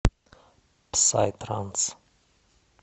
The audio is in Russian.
псай транс